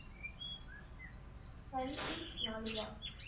Hari Singh Nalwa